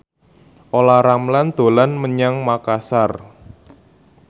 Olla Ramlan dolan menyang Makasar